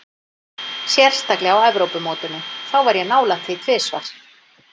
Sérstaklega á Evrópumótinu, þá var ég nálægt því tvisvar.